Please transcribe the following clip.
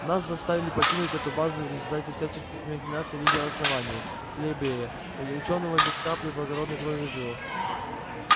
нас заставили покинуть эту базу в результате всяческих махинаций лидера основания плебея учёного без капли благородной крови в жилах